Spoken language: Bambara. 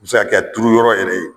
o be se ka Kɛ a turu yɔrɔ yɛrɛ ye